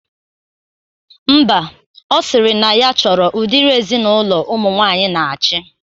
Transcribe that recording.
Mba, ọ sịrị na ya chọrọ udiri ezinaụlọ ụmụ nwaanyị na-achị